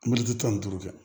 Miiritan ni duuru kɛ